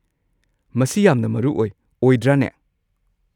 ꯃꯁꯤ ꯌꯥꯝꯅ ꯃꯔꯨ ꯑꯣꯏ, ꯑꯣꯏꯗ꯭ꯔꯅꯦ?